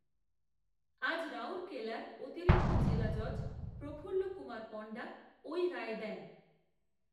আজ, রাউরকেলার অতিরিক্ত জেলা জজ, প্রফুল্ল কুমার পণ্ডা, ওই রায় দেন